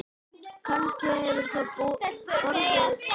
Kannski hefur það brotið ísinn.